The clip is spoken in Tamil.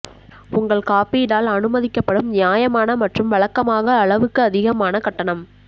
உங்கள் காப்பீடால் அனுமதிக்கப்படும் நியாயமான மற்றும் வழக்கமாக அளவுக்கு அதிகமான கட்டணம்